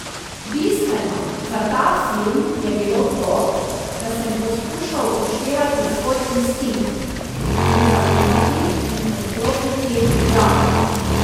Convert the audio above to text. Bistveno za ta film je bilo to, da sem poskušal upoštevati svoj instinkt, mu zaupati in odklopiti glavo.